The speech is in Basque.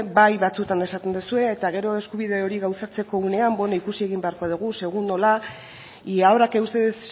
bai batzuetan esaten duzue eta gero eskubide hori gauzatzeko unean beno ikusiko beharko dugu segun nola ahora que ustedes